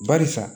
Barisa